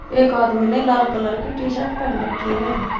एक आदमी ने लाल कलर की टी शर्ट पहन रखी है।